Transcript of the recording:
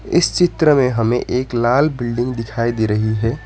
इस चित्र में हमें एक लाल बिल्डिंग दिखाई दे रही है।